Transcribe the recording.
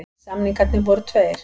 Samningarnir voru tveir